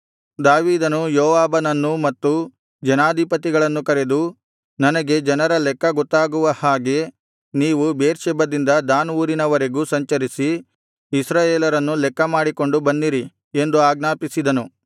ದಾವೀದನು ಯೋವಾಬನನ್ನೂ ಮತ್ತು ಜನಾಧಿಪತಿಗಳನ್ನೂ ಕರೆದು ನನಗೆ ಜನರ ಲೆಕ್ಕ ಗೊತ್ತಾಗುವ ಹಾಗೆ ನೀವು ಬೇರ್ಷೆಬದಿಂದ ದಾನ್ ಊರಿನವರೆಗೂ ಸಂಚರಿಸಿ ಇಸ್ರಾಯೇಲರನ್ನು ಲೆಕ್ಕ ಮಾಡಿಕೊಂಡು ಬನ್ನಿರಿ ಎಂದು ಆಜ್ಞಾಪಿಸಿದನು